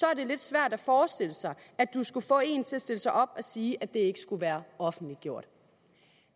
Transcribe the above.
er det lidt svært at forestille sig at du skal få en til at stille sig op og sige at det ikke skulle være offentliggjort